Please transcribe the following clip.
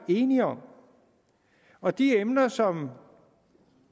er enige om og de emner som